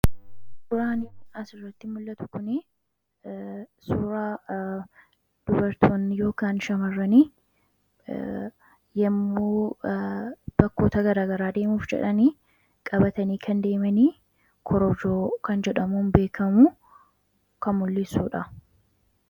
Waan asirratti mul'atu kun, suuraa dubartoonni yookaan shamarran yemmuu bakkoota garaagaraa deemuuf jedhan qabatanii kan deeman guroorroo kan mul'isudha.